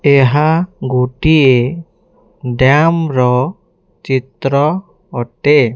यहां गोटी ये डैम रौ चित्रो होते--